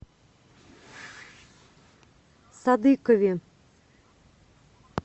садыкове